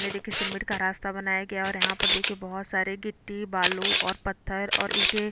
ये देखिये सिमेंट का रास्ता बनाया गया और यहाँ पर देख के बहोत सारे गिट्टी बालू और पत्थर और ईटें--